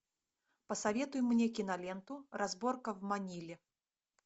посоветуй мне киноленту разборка в маниле